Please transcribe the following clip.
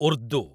Urdu